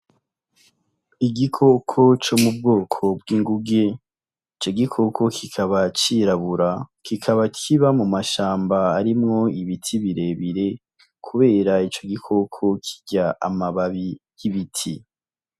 Igikoko co m'ubwoko bw'inguge, ico gikoko kikaba cirabura, kikaba kiba mu mashamba arimwo ibiti birebire kubera ico gikoko kidy'amababi y'ibiti.